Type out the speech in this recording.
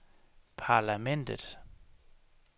parlamentet